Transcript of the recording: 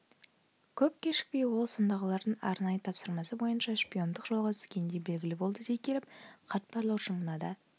көп кешікпей ол сондағылардың арнайы тапсырмасы бойынша шпиондық жолға түскені де белгілі болды дей келіп қарт барлаушы мынада